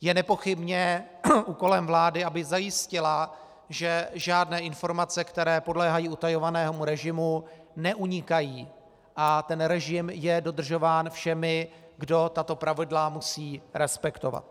Je nepochybně úkolem vlády, aby zajistila, že žádné informace, které podléhají utajovanému režimu, neunikají, a ten režim je dodržován všemi, kdo tato pravidla musí respektovat.